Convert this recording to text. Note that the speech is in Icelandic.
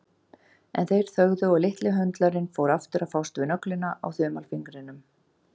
En þeir þögðu og litli höndlarinn fór aftur að fást við nöglina á þumalfingrinum.